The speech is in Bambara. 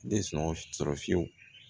Tɛ sɔn sɔrɔ fiyewu